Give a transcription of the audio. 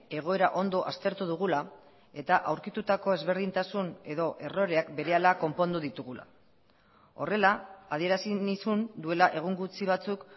egoera ondo aztertu dugula eta aurkitutako ezberdintasun edo erroreak berehala konpondu ditugula horrela adierazi nizun duela egun gutxi batzuk